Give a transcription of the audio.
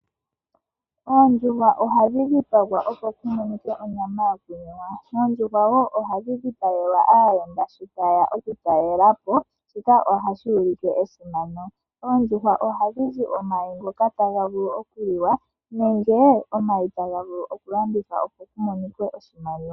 Oondjuhwa ohadhi dhipagwa opo ku monike onyama yoku liwa. Oondjuhwa woo ohadhi dhipagelwa aayenda sho taye ya oku talelapo shika ohashi ulike esimano. Oondjuhwa ohadhi zi omayi ngoka taga vulu oku liwa. Nenge omayi taga vulu oku landithwa opo pu monike oshimaliwa.